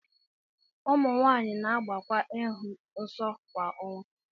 ụmụ nwanyị na-agbakwa ịhụ nsọ kwa ọnwa